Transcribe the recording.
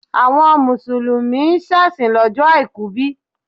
Àwọn Mùsùlùmí ń ṣèsìn lọ́jọ́ Àìkú bí?